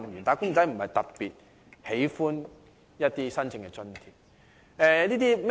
"打工仔"並非特別喜歡申請津貼。